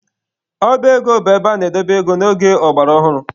Ọba ego bụ ebe ana-edobe ego n'oge ọgbara ọhụrụ.